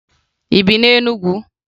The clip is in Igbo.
Ị bi na Enugwu?